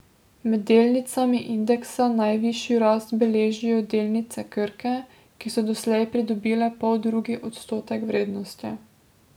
Med delnicami indeksa najvišjo rast beležijo delnice Krke, ki so doslej pridobile poldrugi odstotek vrednosti.